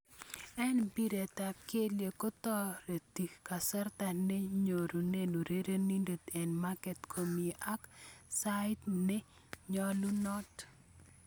Eng' mbiret ab kelyek kotoreti kasarta nenyoruke urerenindet eng' ye makat komi ak eng' saait ne nyolunot.